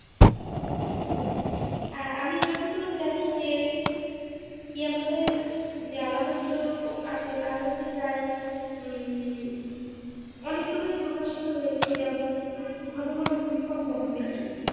হম আমি যতদূর জানি যে কেয়ামতের যে আলামতগুলো আছে তার মধ্যে প্রায় উম অনেকগুলোই প্রকাশিত হয়েছে যেমন ঘন ঘন ভূমিকম্প হবে ।